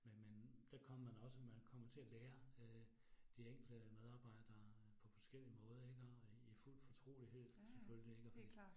Men men der kommer man også, man kommer til at lære øh de enkelte medarbejdere på forskellige måde iggå i i fuld fortrolighed selvfølgelig ik